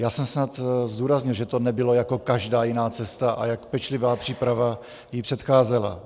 Já jsem snad zdůraznil, že to nebylo jako každá jiná cesta a jak pečlivá příprava jí předcházela.